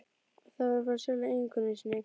Og það frá sjálfri eiginkonu sinni.